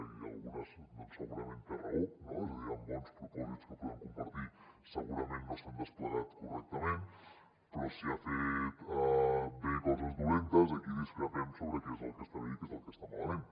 i en algunes segurament té raó és a dir hi han bons propòsits que podem compartir que segurament no s’han desplegat correctament però si ha fet bé coses dolentes aquí discrepem sobre què és el que està bé i què és el que està malament